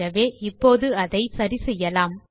ஆகவே இப்போது அதை சரி செய்யலாம்